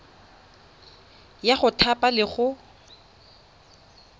ya go thapa le go